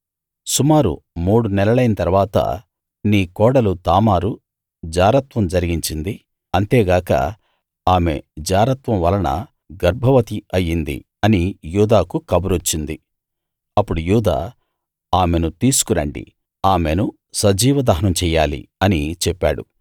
సుమారు మూడు నెలలైన తరువాత నీ కోడలు తామారు జారత్వం జరిగించింది అంతేకాక ఆమె జారత్వం వలన గర్భవతి అయ్యింది అని యూదాకు కబురొచ్చింది అప్పుడు యూదా ఆమెను తీసుకు రండి ఆమెను సజీవ దహనం చెయ్యాలి అని చెప్పాడు